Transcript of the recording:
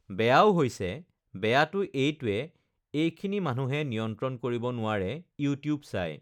বেয়াও হৈছে বেয়াটো এইটোয়ে এইখিনি মানুহে নিয়ন্ত্ৰণ কৰিব নোৱাৰে ইউটিউব চাই,